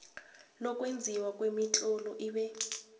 lokwenziwa kwemitlolo ibe